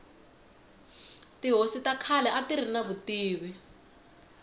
tihosi ta khale atiri ni vutivi